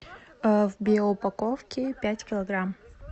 в биоупаковке пять килограмм